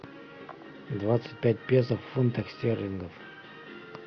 двадцать пять песо в фунтах стерлингов